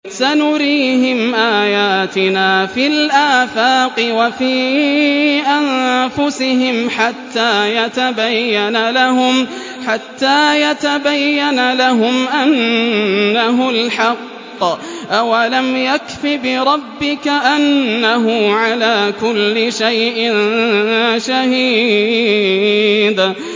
سَنُرِيهِمْ آيَاتِنَا فِي الْآفَاقِ وَفِي أَنفُسِهِمْ حَتَّىٰ يَتَبَيَّنَ لَهُمْ أَنَّهُ الْحَقُّ ۗ أَوَلَمْ يَكْفِ بِرَبِّكَ أَنَّهُ عَلَىٰ كُلِّ شَيْءٍ شَهِيدٌ